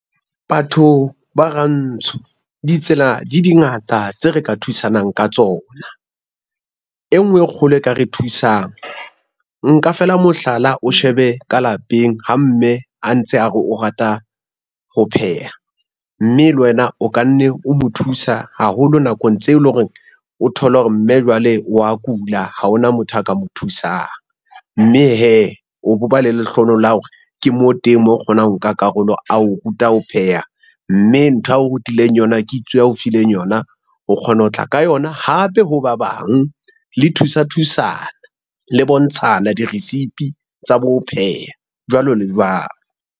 Batho ba rantsho ditsela di di ngata tse re ka thusanang ka tsona. E ngwe e kgolo e ka re thusang, nka fela mohlala o shebe ka lapeng ha mme a ntse a re o rata ho pheha, mme le wena o kanne o mo thusa haholo nakong tseo lo reng o thole hore mme jwale wa kula, ha hona motho a ka mo thusang. Mme hee o bo ba le lehlonolo la hore ke mo teng moo o kgonang ho nka karolo a o ruta ho pheha, mme ntho yao rutileng yona, kitso a o fileng yona o kgona ho tla ka yona hape ho ba bang le thusa thusana, le bontshana diresipi tsa bo ho pheha jwalo le jwalo.